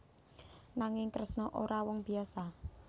Nanging Kresna ora wong biyasa